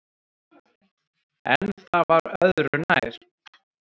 En það var öðru nær